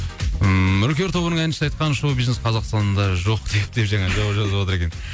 ммм үркер тобының әншісі айтқан шоу бизнес қазақстанда жоқ деп жаңа жауап жазыватыр екен